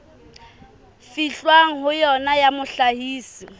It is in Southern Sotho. fihlwang ho yona ya mohlahisi